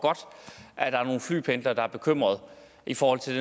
at der er nogle flypendlere der er bekymrede i forhold til